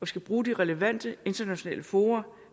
skal bruge de relevante internationale fora